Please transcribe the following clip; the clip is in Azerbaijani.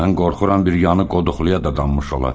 Mən qorxuram bir yanı qoduxluya dadanmış ola.